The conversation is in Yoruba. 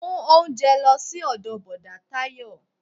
Mú oúnjẹ lọ sí ọdọ bọ̀dá Tayo